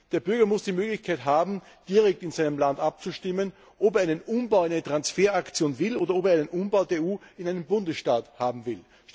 Der Bürger muss die Möglichkeit haben, direkt in seinem Land abzustimmen, ob er einen Umbau, eine Transferaktion will, oder ob er einen Umbau der EU in einen Bundesstaat haben will.